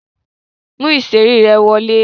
Mú ìṣeré ẹ wọlé!